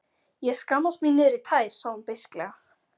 Ég skammast mín niðrí tær, sagði hún beisklega.